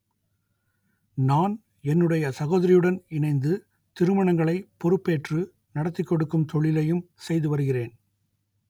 நான் என்னுடைய சகோதரியுடன் இணைந்து திருமணங்களை பொறுப்பேற்று நடத்திக் கொடுக்கும் தொழிலையும் செய்து வருகிறேன்